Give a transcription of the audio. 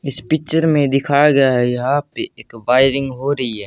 इस पिक्चर में दिखाया गया है यहां पे एक वायरिंग हो रही है।